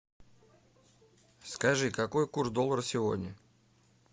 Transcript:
скажи какой курс доллара сегодня